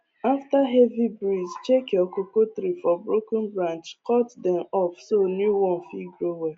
after heavy breeze check your cocoa tree for broken branch cut dem off so new one fit grow well